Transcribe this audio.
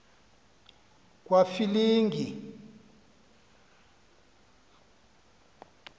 kwafilingi